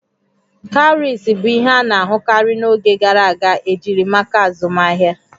Cowries bụ ihe a na-ahụkarị n'oge gara aga ejiri maka azụmahịa